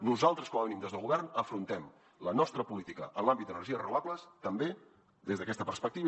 nosaltres com a mínim des del govern afrontem la nostra política en l’àmbit d’energies renovables també des d’aquesta perspectiva